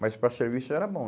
Mas para serviço era bom.